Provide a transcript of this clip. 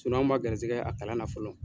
anw man g gɛrizɛgɛ a kalan na fɔlɔ.